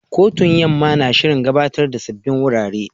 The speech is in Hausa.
Kotun Yamma na shirin gabatar da sabbin wurare.